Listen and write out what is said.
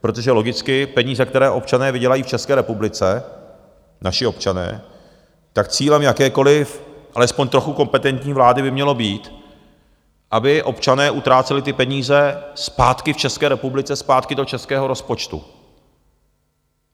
Protože logicky peníze, které občané vydělají v České republice, naši občané, tak cílem jakékoliv alespoň trochu kompetentní vlády by mělo být, aby občané utráceli ty peníze zpátky v České republice, zpátky do českého rozpočtu.